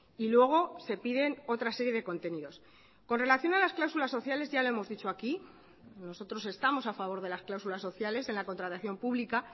y luego se piden otra serie de contenidos con relación a las cláusulas sociales ya le hemos dicho aquí nosotros estamos a favor de las cláusulas sociales en la contratación pública